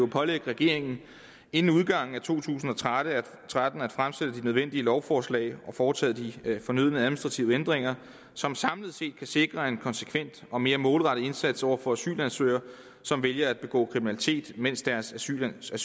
pålægge regeringen inden udgangen af to tusind og tretten at fremsætte de nødvendige lovforslag og få foretaget de fornødne administrative ændringer som samlet set kan sikre en konsekvent og mere målrettet indsats over for asylansøgere som vælger at begå kriminalitet mens deres asylsag